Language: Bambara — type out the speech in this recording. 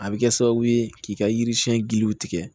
A bɛ kɛ sababu ye k'i ka yiri siɲɛ giliw tigɛ